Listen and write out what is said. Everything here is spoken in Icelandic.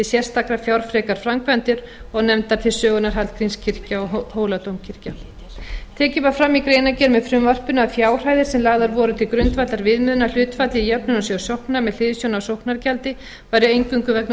sérstaklega fjárfrekar framkvæmdir og nefndar til sögunnar hallgrímskirkja og hóladómkirkja tekið var fram í greinargerð með frumvarpinu að fjárhæðir sem lagðar voru til grundvallar viðmiðunarhlutfalli í jöfnunarsjóð sókna með hliðsjón af sóknargjaldi væru eingöngu vegna